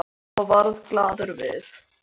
sagði hann og varð glaður við.